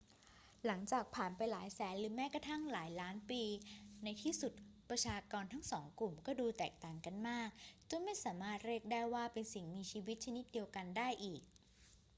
หลังจากผ่านไปหลายแสนหรือแม้กระทั่งหลายล้านปี ในที่สุดประชากรทั้งสองกลุ่มก็ดูแตกต่างกันมากจนไม่สามารถเรียกได้ว่าเป็นสิ่งมีชีวิตชนิดเดียวกันได้อีก